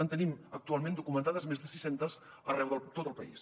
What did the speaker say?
en tenim actualment documentades més de sis centes arreu de tot el país